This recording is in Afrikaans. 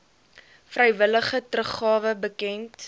vrywillige teruggawe bekend